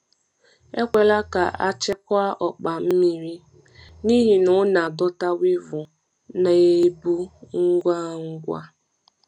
Ekwela ka a chekwaa ọkpa mmiri, n’ihi na ọ na-adọta weevil na ebu ngwa ngwa.